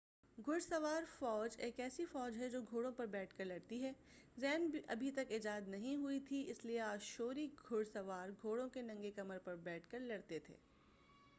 گھڑ سوار فوج ایک ایسی فوج ہے جو گھوڑوں پر بیٹھ کے لڑتی ہے زین ابھی تک ایجاد نہیں ہوئی تھی اس لیے آشوری گھڑ سوار گھوڑوں کی ننگے کمر پر بیٹھ کے لڑتے تھے